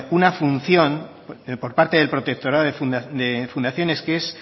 una función por parte del protectorado de fundaciones que es